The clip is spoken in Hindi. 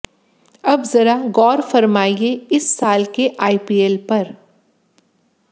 अब जरा गौर फरमाइए इस साल के आईपीएल पर